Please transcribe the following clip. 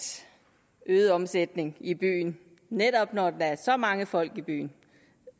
øget omsætning i byen netop når der er så mange folk i byen